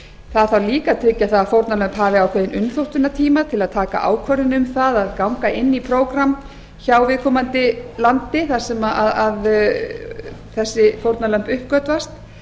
það þarf líka að tryggja það að fórnarlömbin hafi ákveðinn umþóttunartíma til að taka ákvörðun um það að ganga inn í prógramm hjá viðkomandi landi þar sem þessi fórnarlömb uppgötvast